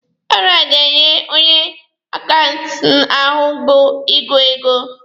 Ọrụ a ga-enye onye akaụntanti ahụ bụ ịgụ ego.